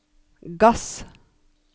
gass